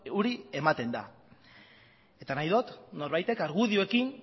hori ematen da eta nahi dot norbaitek argudioekin